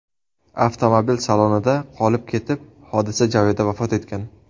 avtomobil salonida qolib ketib, hodisa joyida vafot etgan.